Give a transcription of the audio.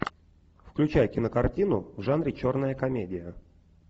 включай кинокартину в жанре черная комедия